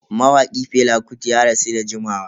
Mawaki Fela Kuti ya rasu da jimawa.